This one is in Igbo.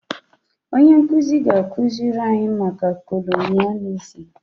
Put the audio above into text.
Onye nkuzi ga-akụziri anyị maka kolonịalizim